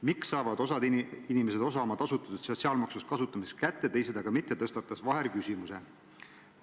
"Miks saavad osad inimesed osa oma tasutud sotsiaalmaksust kasutamiseks kätte, teised aga mitte?" tõstatas Vaher küsimuse.